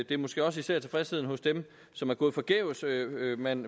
det er måske også især tilfredsheden hos dem som er gået forgæves man